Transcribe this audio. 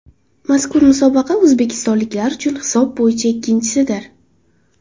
Mazkur musobaqa o‘zbekistonliklar uchun hisob bo‘yicha ikkinchisidir.